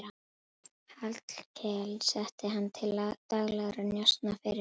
Hallkel setti hann til daglegra njósna fyrir sig.